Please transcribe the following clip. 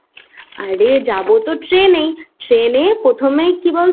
আরে যাবো তো ট্রেন এ ট্রেনে প্রথমে কি বলতো মায়াপুরে